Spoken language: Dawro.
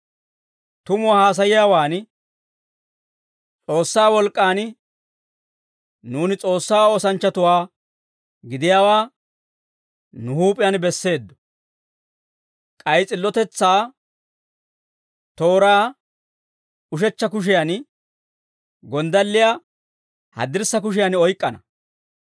tumuwaa haasayiyaawan, S'oossaa wolk'k'an nuuni S'oossaa oosanchchatuwaa gidiyaawaa nu huup'iyaan besseeddo; k'ay s'illotetsaa tooraa ushechcha kushiyan, gonddalliyaa haddirssa kushiyan oyk'k'ana.